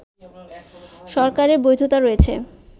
সরকারের বৈধতা রয়েছে